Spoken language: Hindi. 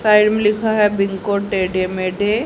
साइड में लिखा है बिंगो टेढ़े मेढ़े--